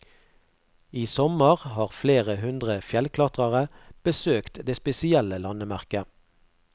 I sommer har flere hundre fjellklatrere besøkt det spesielle landemerket.